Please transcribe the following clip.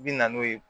I bi na n'o ye